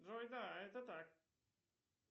джой да это так